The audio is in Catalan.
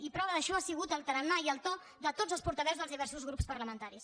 i prova d’això ha sigut el tarannà i el to de tots els portaveus del diversos grups parlamentaris